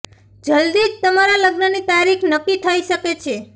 જલ્દી જ તમારા લગ્નની તારીખ નક્કી થઇ શકે છે